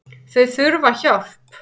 Þau þurfa hjálp